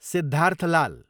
Siddharth Lal